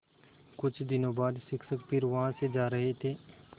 कुछ दिनों बाद शिक्षक फिर वहाँ से जा रहे थे